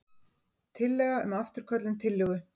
Tillaga um afturköllun tillögu.